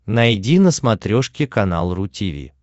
найди на смотрешке канал ру ти ви